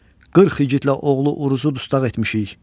Qırx igidlə oğlu Uruzu dustaq etmişik.